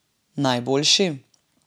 Najboljši?